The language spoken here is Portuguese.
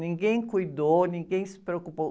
Ninguém cuidou, ninguém se preocupou.